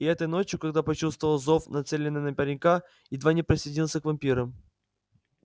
и этой ночью когда почувствовал зов нацеленный на паренька едва не присоединился к вампирам